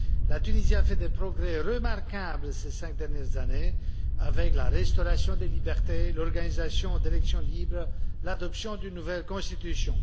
La Tunisie a fait des progrès remarquables ces cinq dernières années, avec la restauration des libertés, l'organisation d'élections libres et l'adoption d'une nouvelle Constitution.